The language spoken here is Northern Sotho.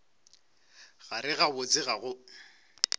gare ga botse ga go